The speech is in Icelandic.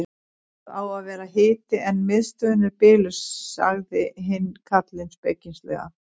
Það á að vera hiti en miðstöðin er biluð sagði hinn karlinn spekingslega.